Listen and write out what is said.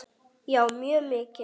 Já, mjög mikið.